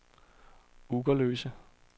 Ugerløse